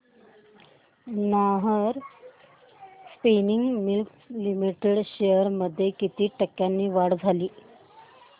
Nahar spinning mills limited shares मध्ये किती टक्क्यांची वाढ झाली